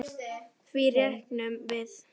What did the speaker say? Því reiknum við